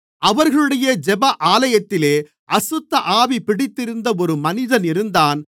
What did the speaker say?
அவர்களுடைய ஜெப ஆலயத்திலே அசுத்தஆவி பிடித்திருந்த ஒரு மனிதன் இருந்தான்